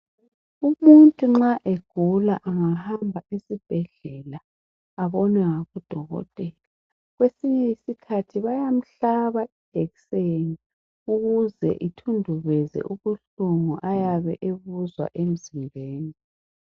Umuntu nxa egula angahamba esibhedela abonwe ngudokotela, kwesinye isikhathi bayamhlaba ijekiseni ukuze kuthundubeze ubuhlungu ayabe ebuzwa emzimbeni.